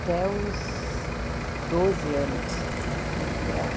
Até os doze anos eu fiquei integral.